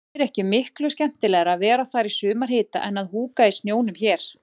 Væri ekki miklu skemmtilegra að vera þar í sumarhita en að húka í snjónum hér.